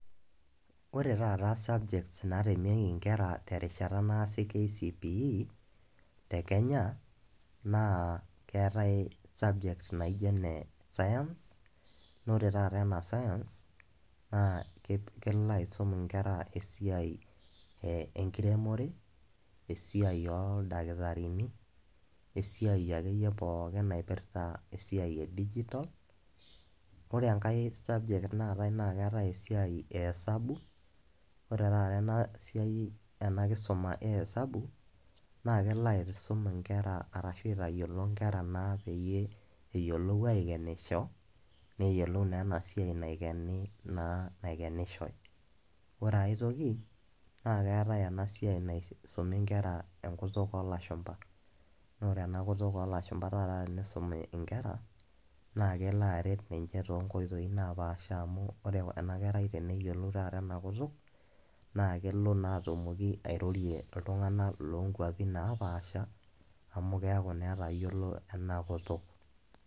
Ore taata subjects natemieki inkera terishata naasi kcpe te kenya naa keetae subject naijo enescience naa ore taata ena science naa kelo aisum inkera esiai enkiremore, esiai oldakitarini, weesiai akeyie pookin naipirta esiai edigital .Ore enkae subject naatae naa keetae esiai ehesabu, ore taata ena siai, ena kisuma ehesabu naa kelo aisum inkera arashu aitayiolo nkera naa peyie eyiolou aikenisho , neyiolou naa ena siai naikeni naa naikenishoy . Ore aetoki naa keetae ena siai naisumi inkera enkutuk olashumba naa ore ena kutuk olashumba taata tenisumi inkera naa kelo aret ninche toonkoitoi naapasha amu ore ena kerai teneyiolou naataata enakutuk naa kelo naa atumoki airorie iltunganak lonkwapi naapasha amu keaku naa etayiolo ena kutuk.